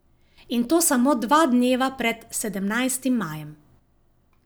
In to samo dva dneva pred sedemnajstim majem.